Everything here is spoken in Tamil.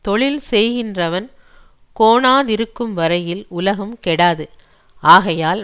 தொழில் செய்கின்றவன் கோணாதிருக்கும் வரையில் உலகம் கெடாது ஆகையால்